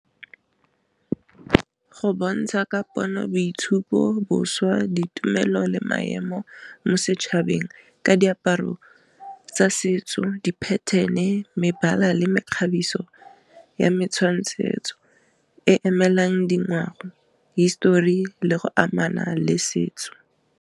Go bontsha ka pono boitshupo boswa ditumelo le maemo mo setšhabeng ka diaparo tsa setso di pattern-e mebala le mekgabiso ya metshwangtshetso e emelang dingwao histori le go amana le setso.